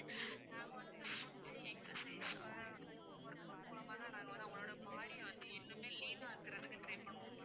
நாங்க வந்து food to exercise வேற workout மூலமா தான் நாங்க வந்து உங்களோட body ய வந்து இன்னுமே lean இருக்குறதுக்கு try பண்ணுவோம்